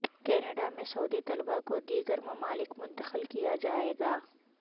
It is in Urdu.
کینیڈا میں سعودی طلبہ کو دیگر ممالک منتقل کیا جائے گا